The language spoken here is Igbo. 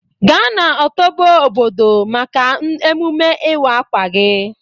Ga na ọtobo bọdo maka emume ịwa akwa gi.